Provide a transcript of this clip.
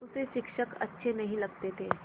उसे शिक्षक अच्छे नहीं लगते थे